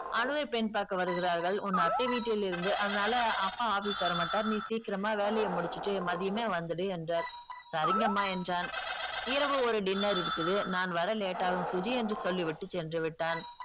அனுவை பெண் பார்க்க வருகிறார்கள் உன் அத்தை வீட்டிலிருந்து அதனால அப்பா office வரமாட்டார் நீ சீக்கிரமா வேலைய முடிச்சிட்டு மதியமே வந்துடு என்றார் சரிங்கம்மா என்றான் இரவு ஒரு dinner இருக்குது நான் வர late ஆகும் சுஜி என்று சொல்லி விட்டு சென்றுவிட்டான்